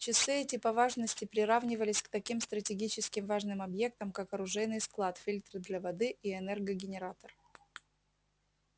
часы эти по важности приравнивались к таким стратегически важным объектам как оружейный склад фильтры для воды и электрогенератор